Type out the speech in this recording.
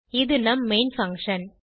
இது நம் main function